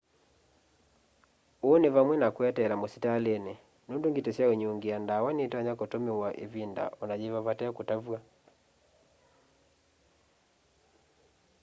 uu ni vamwe na kweteela musitalini nundu ngiti syaunyungia ndawa nitonya kutumiwa ivinda ona yiva vate kutavw'a